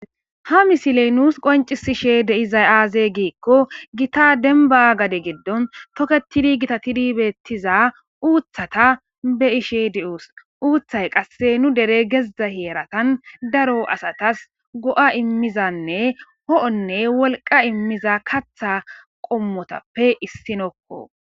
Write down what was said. ha misiley nuus qoncisishe de7izay aaze giikko gita denba gade giddon toketidi gita tidi beettiza uuthata be ishe di7uus uuththay qasse nu dere gezdza heeratan daro asatas go7a immizanne ho7onne wolqa immiza katha qommotappe issinokko